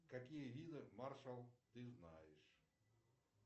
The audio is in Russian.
какие виды маршал ты знаешь